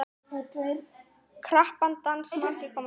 Krappan dans margir komast í.